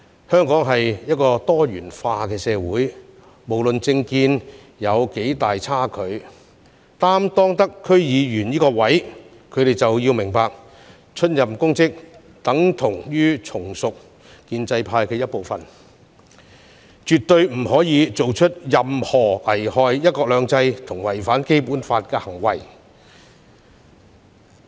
香港是一個多元化社會，無論政見有多大差距，出任區議員這個職位的人士理應明白，出任公職等同從屬建制的一部分，絕不可以做出任何危害"一國兩制"和違反《基本法》的行為。